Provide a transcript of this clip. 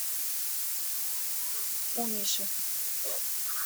у миши